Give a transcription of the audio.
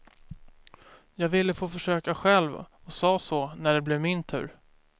Jag ville få försöka själv och sa så, när det blev min tur.